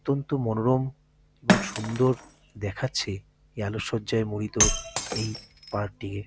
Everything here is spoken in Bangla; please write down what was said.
অত্যন্ত মনোরম এবং সুন্দর দেখাচ্ছে এই আলোক সজ্জায় মুরিত এই পার্ক -টিকে।